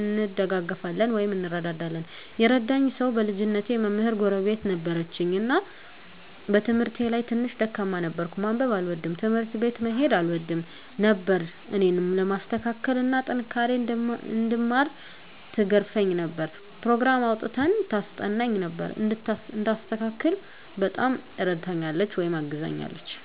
እንደጋገፋለን (እንረዳዳለን) ። የረዳኝ ሰዉ በልጅነቴ መምህር ጎረቤት ነበረችን እና በትምህርቴ ላይ ትንሽ ደካማ ነበርኩ፤ ማንበብ አልወድም፣ ትምህርት ቤት መሄድ አልወድም ነበር እኔን ለማስተካከል እና ጠንክሬ እንድማር ትገርፈኝ ነበር፣ ኘሮግራም አዉጥታ ታስጠናኝ ነበር፣ እንድስተካከል በጣም እረድታኛለች(አግዛኛለች) ።